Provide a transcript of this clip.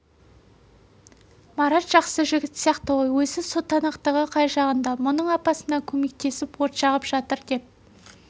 марат жақсы жігіт сияқты ғой өзі сотанақтығы қай жағында мұның апасына көмектесіп от жағып жатыр деп